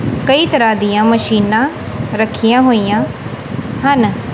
ਕਈ ਤਰਹਾਂ ਦੀਆਂ ਮਸ਼ੀਨਾਂ ਰੱਖਿਆਂ ਹੋਈਆਂ ਹਨ।